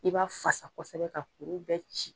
I b'a fasa kɔsɛbɛ ka kuru bɛɛ ci.